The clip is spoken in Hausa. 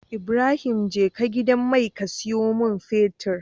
Ibrahim jeka gidan mai ka siyo mun fetir